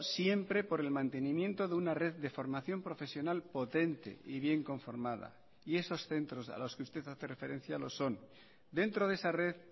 siempre por el mantenimiento de una red de formación profesional potente y bien conformada y esos centros a los que usted hace referencia lo son dentro de esa red